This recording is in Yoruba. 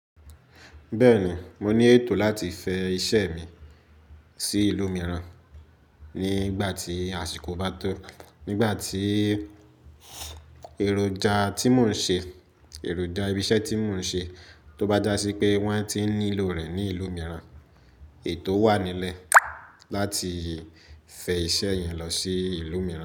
Bẹ́ẹ̀ni, mo ní ètò láti fẹ́ iṣẹ́ mi sí ìlú mìíràn nígbà tí àsìkò bá tó. Nígbà tí èròjà tí mò ń ṣe, èròjà ibi iṣẹ́ tí mò ń ṣe tó bá dá sí pé wọ́n ti nílò rẹ̀ ní ìlú mìíràn, ètò wà nílẹ̀ láti fẹ iṣẹ́ yẹn lọ sí ìlú mìíràn.